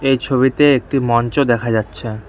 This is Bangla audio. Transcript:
এই ছবিতে একটি মঞ্চ দেখা যাচ্ছে।